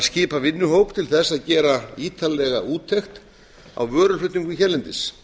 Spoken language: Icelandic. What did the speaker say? skipa vinnuhóp til þess að gera ítarlega úttekt á vöruflutningum hérlendis